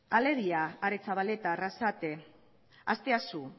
alegia aretxabaleta arrasate asteasu